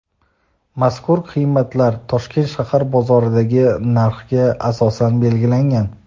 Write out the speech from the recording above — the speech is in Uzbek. mazkur qiymatlar Toshkent shahar bozorlaridagi narxga asosan belgilangan.